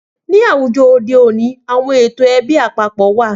Ni àwùjọ òde òní, àwọn ètò ẹbí àpapọ̀ wá.